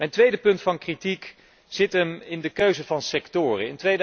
Mijn tweede punt van kritiek betreft de keuze van sectoren.